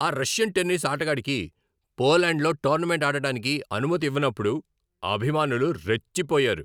ఆ Russian tennis ఆటగాడికి పోలాండ్లో టోర్నమెంట్ ఆడటానికి అనుమతి ఇవ్వనప్పుడు అభిమానులు రెచ్చిపోయారు.